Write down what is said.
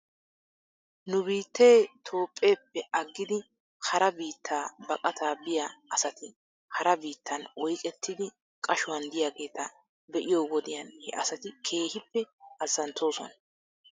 Nu biittee Toophpheeppe aggidi hara biitta baqataa biyaa asati hara biittan oyqqettidi qashuwan de'iyaageeta be'iyo wodiyan he asati keehippe azzanttoosona?